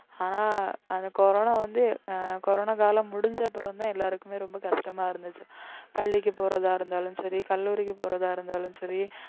அஹ் அந்த கொரோனா வந்து அஹ் கொரோனா காலம் முடிஞ்ச அப்புறம்தான் எல்லாருக்குமே ரொம்ப கஷ்டமா இருந்துச்சு பள்ளிக்கு போறதா இருந்தாலும் சரி கல்லூரிக்கு போறதா இருந்தாலும் சரி